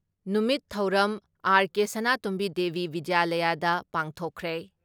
ꯅꯨꯃꯤꯠ ꯊꯧꯔꯝ ꯑꯥꯔ.ꯀꯦ ꯁꯅꯥꯇꯣꯝꯕꯤ ꯗꯦꯕꯤ ꯕꯤꯗ꯭ꯌꯥꯂꯌꯗ ꯄꯥꯡꯊꯣꯛꯈ꯭ꯔꯦ ꯫